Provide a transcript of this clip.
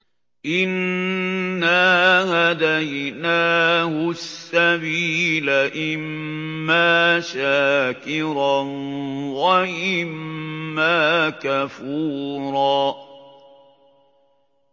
إِنَّا هَدَيْنَاهُ السَّبِيلَ إِمَّا شَاكِرًا وَإِمَّا كَفُورًا